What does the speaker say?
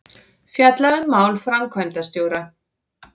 Fjalla um mál framkvæmdastjóra